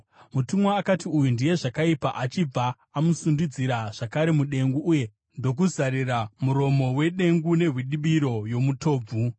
Mutumwa akati, “Uyu ndiye zvakaipa,” achibva amusundidzira zvakare mudengu uye ndokuzarira muromo wedengu nehwidibiro yomutobvu.